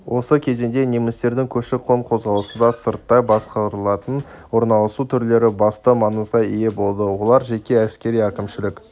осы кезеңде немістердің көші-қон қозғалысында сырттай басқарылатын орналасу түрлері басты маңызға ие болды олар жеке әскери-әкімшілік